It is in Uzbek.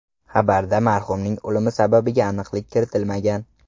Xabarda marhumning o‘limi sababiga aniqlik kiritilmagan.